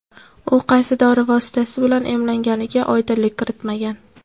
U qaysi dori vositasi bilan emlanganiga oydinlik kiritmagan.